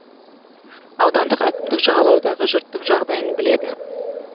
аудандық әкімдік жағалаудағы жұрттың жағдайын біледі